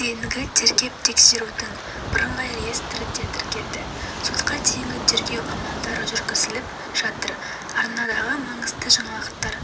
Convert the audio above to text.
дейінгі тергеп-тексерудің бірыңғай реестрінде тіркелді сотқа дейінгі тергеу амалдары жүргізіліп жатыр арнасындағы маңызды жаңалықтар